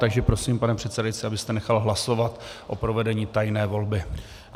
Takže prosím, pane předsedající, abyste nechal hlasovat o provedení tajné volby.